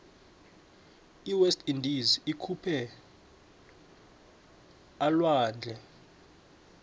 iwest indies ikuliphii alwandle